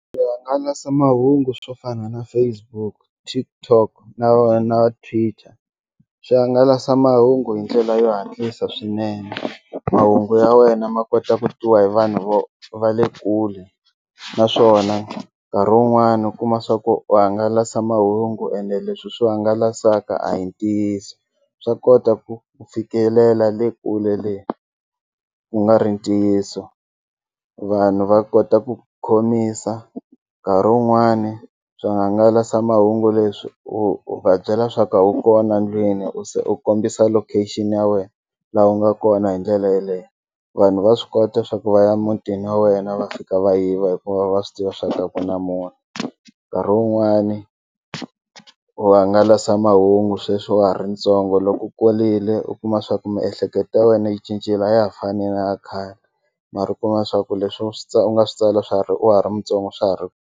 Swihangalasamahungu swo fana na Facebook TikTok na Twitter swi hangalasa mahungu hi ndlela yo hatlisa swinene mahungu ya wena ma kota ku twiwa hi vanhu vo va le kule naswona nkarhi wun'wani u kuma swa ku u hangalasa mahungu ene leswi swi hangalasaka a hi ntiyiso swa kota ku fikelela le kule le ku nga ri ntiyiso. Vanhu va kota ku khomisa nkarhi wun'wani swihangalasamahungu leswi u va byela swa ku a wu kona ndlwini u se u kombisa location ya wena laha u nga kona hi ndlela yeleyo. Vanhu va swi kota swa ku va ya muntini wa wena va fika va yiva hikuva va swi tiva swa ku a ku na munhu, nkarhi wun'wani u hangalasamahungu sweswi wa ha ri ntsongo loko u kulile u kuma swa ku miehleketo ya wena yi cincile a ya ha fani naya khale mara u kuma swa ku leswi u swi u nga swi tsala swa ha ri wa ha ri mutsongo swa ha ri.